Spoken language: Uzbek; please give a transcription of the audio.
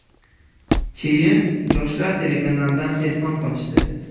Keyin ‘Yoshlar’ telekanalidan telefon qilishdi.